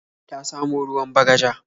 Ta samo ruwan Bagaja.